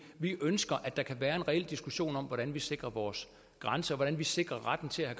vi ønsker at der kan være en reel diskussion om hvordan vi sikrer vores grænser hvordan vi sikrer retten til at